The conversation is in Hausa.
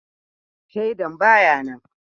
Shaidan ba ya nan